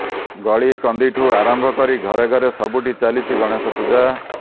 ଗଳି କନ୍ଦିଠୁ ଆରମ୍ଭ କରି ଘରେ ଘରେ ସବୁଠି ଚାଲିଛି ଗଣେଶ ପୂଜା